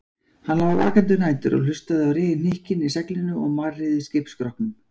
Hann lá vakandi um nætur og hlustaði á hnykkina í seglinu og marrið í skipsskrokknum.